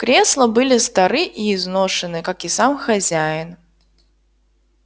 кресла были стары и изношены как и сам хозяин